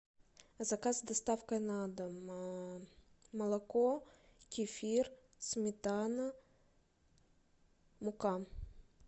заказ с доставкой на дом молоко кефир сметана мука